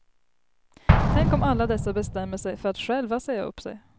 Tänk om alla dessa bestämmer sig för att själva säga upp sig.